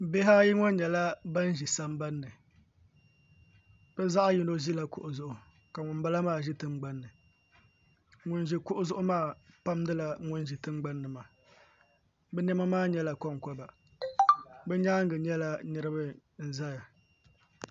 Bihi ayi ŋo nyɛla bin ƶi sambanni bi zaɣ yino ʒila kuɣu zuɣu ka ŋunbala maa ʒi tingbanni ŋun ʒi kuɣu zuɣu maa pamdila ŋun ʒi tingbanni maa bi niɛma maa nyɛla konkoba bi nyaangi nyɛla niraba n ʒɛya